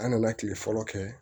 An nana kile fɔlɔ kɛ